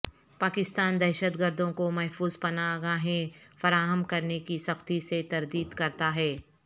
پاکستان دہشت گردوں کو محفوظ پناہ گاہیں فراہم کرنے کی سختی سے تردید کرتا ہے